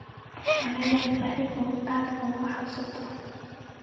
Ma lihid sabab aad uga cabsato.